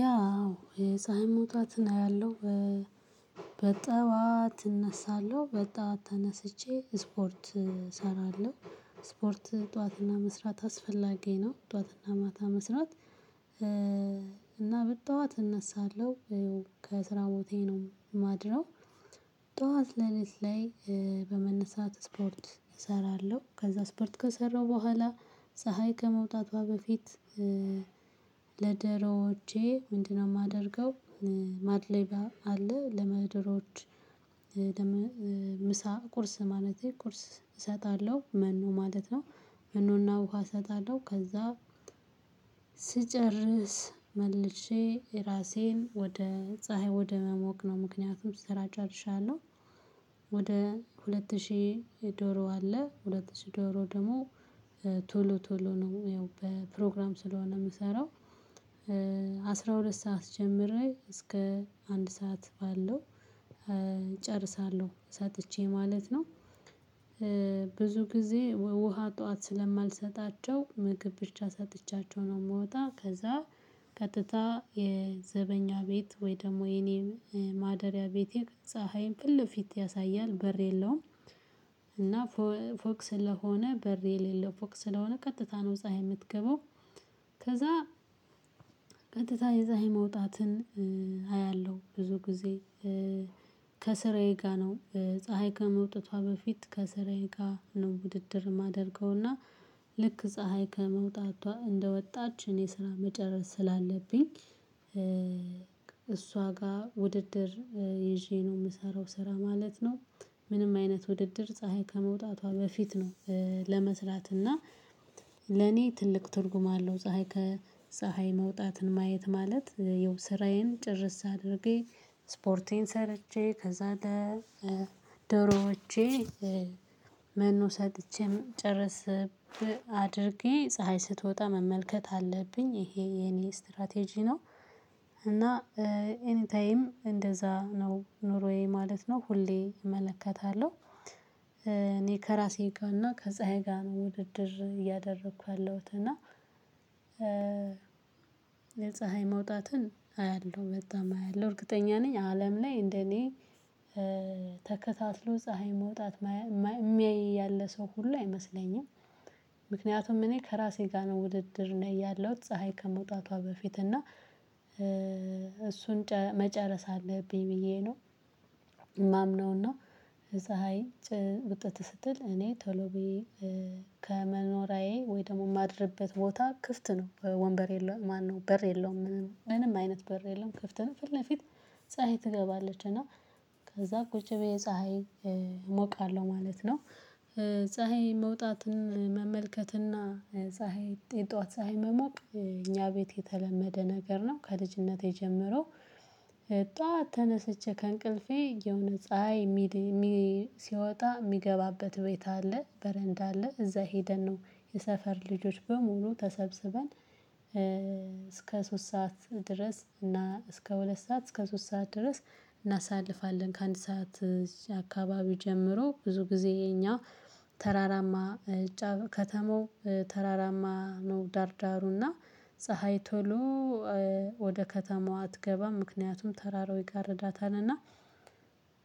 ያው የፀሀይ ሞጣትን አያለሁ በጠዋት እነሳለሁ በጧት ተነስቼ ስፖርት እሰራለሁ ስፖርት ጧትና መስራት አስፈላጊ ነው ጠዋትና ማታ መስራት። እና በጠዋት እነሳለሁ ከስራ ቦታዬ ነው የማድረው ጠዋት ለኔ ላይ በመነሳት ስፖርት እሰራለሁ ከዛ ስፖርት ከሰራሁ በኋላ ፀሀይ ከመውጣቷ በፊት ለደረወጄ ምንድነው የማደርገው? ማድሌባ አለ ለመድሮች ምሳ ቁርስ ማለቴ ቁርስ እሰጣለሁ መኖ ማለት ነው። መኖና ውሃ እሰጣለሁ ከዛ ስጨርስ መልሼ ራሴን ወደ ፀሀይ ወደ መሞቅ ነው። ምክንያቱም ስራ ጨርሻለውህ። ወደ ሁለት ሺህ ዶሮ አለ ሁለት ሺህ ዶሮ ደግሞ ቶሎ ቶሎ ነው ያው በፕሮግራም ስለሆነ የምሰራው አስራ ሁለት ሰዓት ጀምሬ እስከ አንድ ሰዓት ባለው እጨርሳለሁ ሰጥቼ ማለት ነው። ብዙ ጊዜ ውሃ ጠዋት ስለማልሰጣቸው ምግብ ብቻ ሰጥቻቸው ነው የምወጣ ከዛ ቀጥታ የዘበኛ ቤት ወይ ደግሞ የኔ ማደሪያ ቤቴ ፀሀይን ፍልፊት ያሳያል በር የለውም። እና ፎቅ ስለሆነ በር የሌለው ፎቅ ስለሆነ ቀጥታ ነው ፀሀይ የምትገባው። ከዛ ቀጥታ የፀሀይ መውጣትን አያለሁ ብዙ ጊዜ። ከስራዬ ጋር ነው ፀሀይ ከመውጣቷ በፊት ከስራዬ ጋር ነው ውድድር የማደርገውና ልክ ፀሀይ ከመውጣቷ እንደወጣች እኔ ስራ መጨረስ ስላለብኝ እሷ ጋር ውድድር ይዤ ነው ምሰራው ስራ ማለት ነው። ምንም አይነት ውድድር ፀሀይ ከመውጣቷ በፊት ነው ለመስራት እና ለኔ ትልቅ ትርጉም አለው። ፀሀይ ከፀሀይ መውጣትን ማየት ማለት የው ስራዬን ጭርስ አድርጌ ስፖርቴን ሰርቼ ከዛ ለ ዶሮዎቼ መኖ ሰጥቼ መጨርስ አድርጌ ፀሀይ ስትወጣ መመልከት አለብኝ ይሄ የኔ ስትራቴጂ ነው። እና ኤኒ ታይም እንደዛ ነው ኑሮዬ ማለት ነው ሁሌ እመለከታለሁ። እኔ ከራሴ ጋር እና ከዛ ጋር ውድድር እያደረኩ ያለሁት እና የፀሀይ መውጣትን አያለሁ በጣም አያለሁ እርግጠኛ ነኝ አለም ላይ እንደኔ ተከታትሎ ፀሀይ መውጣት የሚያይ ያለ ሰው ሁሉ አይመስለኝም። ምክንያቱም እኔ ከራሴ ጋር ነው ውድድር ላይ ያለው ፀሀይ ከመውጣቷ በፊት እና እሱን መጨረስ አለብኝ ብዬ ነው። ማምነውና ፀሀይ ውጥት ስትል እኔ ቶሎ ቤት ከመኖራዬ ወይ ደግሞ የማድርበት ቦታ ክፍት ነው ወንበር የለውም ማነው በር የለውም ምንም አይነት በር የለውም ከፍት ፊት ለፊት ፀሀይ ትገባለች እና ከዛ ቁጭ ብዬ ፀሀይ እሞቃለሁ ማለት ነው። ፀሀይ መውጣትን መመልከትና ፀሀይ የጧት ፀሀይ መሞቅ እኛ ቤት የተለመደ ነገር ነው ከልጅነቴ ጀምሮ። ጧት ተነስቼ ከእንቅልፌ የሆነ ፀሀይ ሲወጣ የሚገባበት ቤት አለ በረንዳ አለ እዛ ሄደን ነው። የሰፈር ልጆች በሙሉ ተሰብስበን እስከ ሶስት ሰዓት ድረስ እና እስከ ሁለት ሰዓት እስከ ሶስት ሰዓት ድረስ እናሳልፋለን ከአንድ ሰዓት አካባቢው ጀምሮ ብዙ ጊዜ የኛ ተራራማ ከተማው ተራራማ ነው። ዳዳሩና ፀሀይ ቶሎ ወደ ከተማው አትገባም ምክንያቱም ተራራው ይጋርዳታልና።